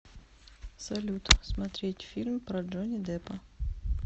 салют смотреть фильм про джони деппа